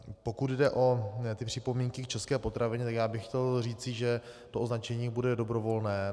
Pokud jde o připomínky k české potravině, tak já bych chtěl říci, že to označení bude dobrovolné.